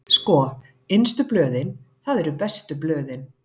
Sko, innstu blöðin, það eru bestu blöðin.